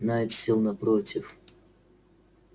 найд сел напротив